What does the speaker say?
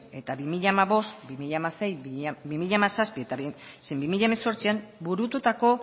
eta bi mila hamabost bi mila hamasei bi mila hamazazpi zein bi mila hemezortzian burututako